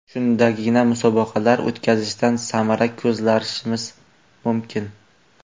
Shundagina musobaqalar o‘tkazishdan samara ko‘zlashimiz mumkin.